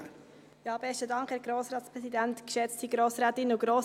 Dann darf ich das Wort Regierungsrätin Evi Allemann geben.